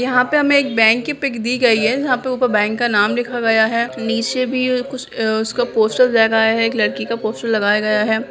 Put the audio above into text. यहाँ पे हमें एक बैंक की पिक दी गई है जहाँ पे ऊपर बैंक का नाम लिखा गया है नीचे भी कुछ अ उसका पोस्टर लगा है एक लड़की का पोस्टर लगाया गया है।